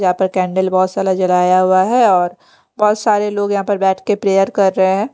यहाँ पे कैंडिल बहोत साला जलाया हुआ है और बहोत सारे लोग यहाँ पे बैठ के प्रेयर कर रहे हैं।